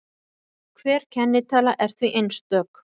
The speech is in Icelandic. Hver kennitala er því einstök.